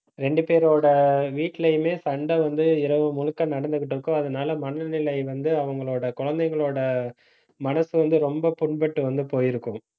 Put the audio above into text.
இரண்டு பேரோட வீட்டிலேயுமே சண்டை வந்து, இரவு முழுக்க நடந்துகிட்டு இருக்கும். அதனால மனநிலை வந்து, அவங்களோட குழந்தைங்களோட மனசு வந்து ரொம்ப புண்பட்டு வந்து போயிருக்கும்